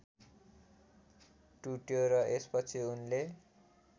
टुट्यो र यसपछि उनले